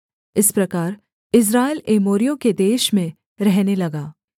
इस प्रकार इस्राएल एमोरियों के देश में रहने लगा